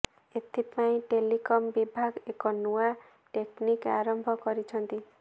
ଏଥିପାଇଁ ଟେଲିକମ୍ ବିଭାଗ ଏକ ନୂଆ ଟେକ୍ନିକ୍ ଆରମ୍ଭ କରିଛନ୍ତି